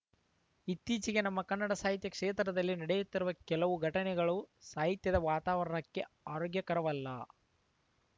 ಇತ್ತೀಚೆಗೆ ನಮ್ಮ ಕನ್ನಡ ಸಾಹಿತ್ಯ ಕ್ಷೇತ್ರದಲ್ಲಿ ನಡೆಯುತ್ತಿರುವ ಕೆಲವು ಘಟನೆಗಳು ಸಾಹಿತ್ಯದ ವಾತಾವರಣಕ್ಕೆ ಆರೋಗ್ಯಕರವಲ್ಲ